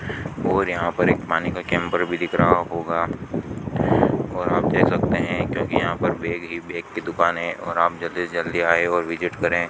और यहां पर एक पानी का कैंपर भी दिख रहा होगा और आप दे सकते हैं क्योंकि यहां पर बेग ही बेग की दुकानें हैं और आप जल्दी से जल्दी आएं और विजिट करें।